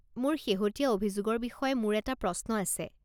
মোৰ শেহতীয়া অভিযোগৰ বিষয়ে মোৰ এটা প্ৰশ্ন আছে।